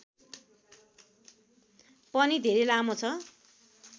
पनि धेरै लामो छ